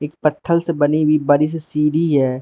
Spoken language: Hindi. पत्थल से बनी हुई बड़ी सी सीढ़ी है।